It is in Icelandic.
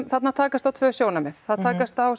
þarna takast á tvö sjónarmið það takast á